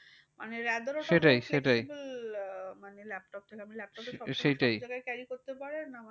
মানে rather ওটা আহ মানে laptop থেকে laptop আপনি সবজায়গায় carry করতে পারেন।